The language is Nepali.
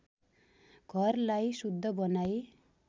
घरलाई शुद्ध बनाई